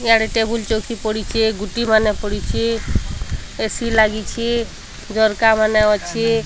ଇଆଡ଼େ ଟେବୁଲ୍ ଚୌକି ପଡ଼ିଛି ଗୋଟି ମାନ ପଡ଼ିଛି ଏ_ସି ଲାଗିଛି ଝରକା ମାନ ଅଛି।